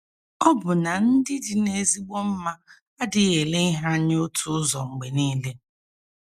Ọbụna ndị dị n’ezigbo mma adịghị ele ihe anya otu ụzọ mgbe nile.